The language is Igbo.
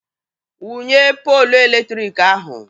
Wụnye poolu eletrik ahụ!